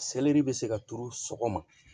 Selɛri bɛ se ka turu sɔgɔma